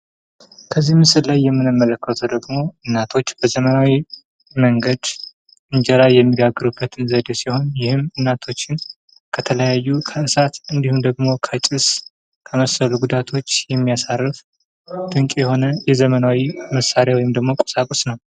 ከዚህ ምስል ላይ የምንመለከተው ደሞ እናቶች በዘመናዊ መንገድ እንጀራ የሚጋግሩበትን ዘዴ ሲሆን ይህም እናቶችን ከተለያዩ ከእሳት እንዲሁም ደግም ከጭስ ከመሰሉ ጉዳቶች የሚያሳርፍ ድቅ የሆነ የዘመናዊ መሳርያ ወይም ደሞ ቁሳቁስ ነው።